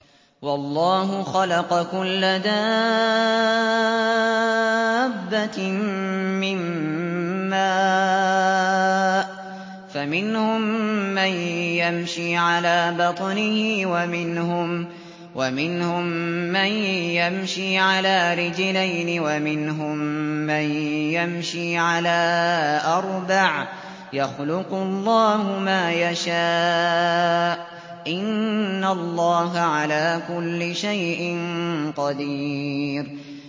وَاللَّهُ خَلَقَ كُلَّ دَابَّةٍ مِّن مَّاءٍ ۖ فَمِنْهُم مَّن يَمْشِي عَلَىٰ بَطْنِهِ وَمِنْهُم مَّن يَمْشِي عَلَىٰ رِجْلَيْنِ وَمِنْهُم مَّن يَمْشِي عَلَىٰ أَرْبَعٍ ۚ يَخْلُقُ اللَّهُ مَا يَشَاءُ ۚ إِنَّ اللَّهَ عَلَىٰ كُلِّ شَيْءٍ قَدِيرٌ